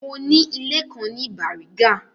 Mo ni ilé kan ní Bàrígà.